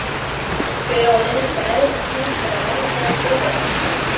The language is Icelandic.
Hver á að leiðrétta æðsta handhafa alræðis öreiganna?